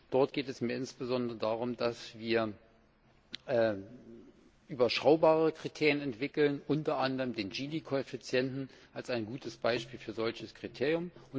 Dort geht es mir insbesondere darum, dass wir überschaubare Kriterien entwickeln, unter anderem den GINI Koeffizienten als ein gutes Beispiel für ein solches Kriterium.